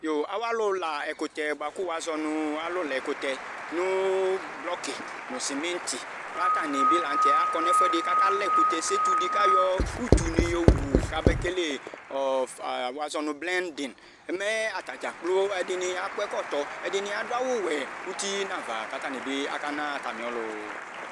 Yooo awalʋ la ɛkʋtɛ bʋa kʋ wazɔ nʋ alʋka kʋtɛ nʋ bockɩ nʋ cimentɩ k'atanɩɩ bɩ la n'tɛ akɔ n'fʋɛdɩ k'aka la ɛkʋtɛ setu dɩ k'ayɔ utunɩ yowu kabekele ɔɔ ffa wazɔ nʋ blending mɛ atadzaa kplo akɔ ɛkɔtɔ, ɛdɩnɩ adʋ awʋ wɛ uti n'ava k'atsnɩ bɩ aka na atamɩ ɔlʋ